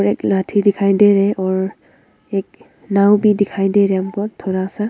और एक लाठी दिखाई दे रहे और एक नाव भी दिखाई दे रहा बहौत थोड़ा सा।